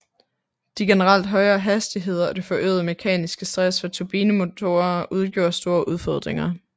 De generelt højere hastigheder og det forøgede mekaniske stress fra turbinemotorer udgjorde store udfordringer